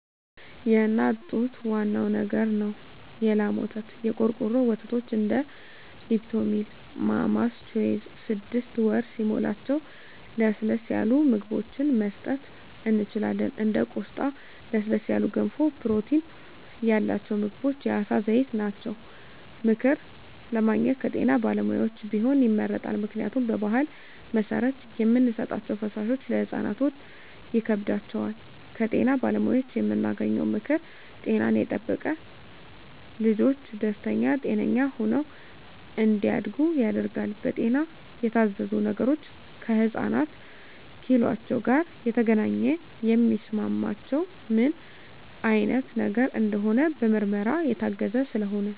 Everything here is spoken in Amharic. የእናት ጡት ዋናው ነገር ነው የላም ወተት , የቆርቆሮ ወተቶች እንደ ሊፕቶሚል ማማስ ቾይዥ ስድስት ወር ሲሞላቸው ለስለስ ያሉ ምግብችን መስጠት እንችላለን እንደ ቆስጣ ለስለስ ያሉ ገንፎ ፕሮቲን ያላቸው ምግቦች የአሳ ዘይት ናቸው። ምክር ለማግኘት ከጤና ባለሙያዎች ቢሆን ይመረጣል ምክንያቱም በባህል መሰረት የምንሰጣቸዉ ፈሳሾች ለህፃናት ሆድ ይከብዳቸዋል። ከጤና ባለሙያዎች የምናገኘው ምክር ጤናን የጠበቀ ልጅች ደስተኛ ጤነኛ ሆነው እንዳድጉ ያደርጋል። በጤና የታዘዙ ነገሮች ከህፃናት ኪሏቸው ጋር የተገናኘ የሚስማማቸው ምን አይነት ነገር እንደሆነ በምርመራ የታገዘ ስለሆነ